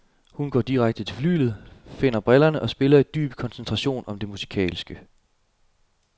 Hun går direkte til flyglet, finder brillerne og spiller i dyb koncentration om det musikalske.